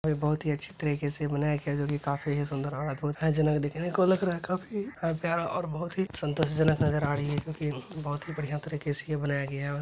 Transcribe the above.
और यह बहुत ही अच्छे तरीके से बनाया गया है जो की काफी सुंदर और अद्भूत है जिन्हें देखने में लग रहा है काफी प्यारा और बहुत ही संतोष जनक नजर आ रही है जो की बहुत ही बड़िया तरीके से ये बनाया गया है।